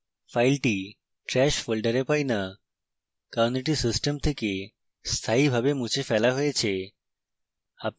file trash folder পাই না কারণ এটি system থেকে স্থায়ীভাবে মুছে ফেলা হয়েছে